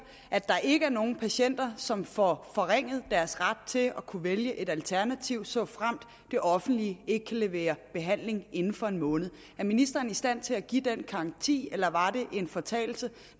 at der ikke er nogen patienter som får forringet deres ret til at kunne vælge et alternativ såfremt det offentlige ikke kan levere behandling inden for en måned er ministeren i stand til at give den garanti eller var det en fortalelse